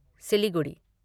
Siliguri